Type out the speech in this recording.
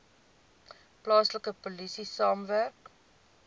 plaaslike polisie saamwerk